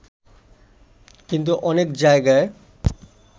কিন্তু অনেক জায়গায়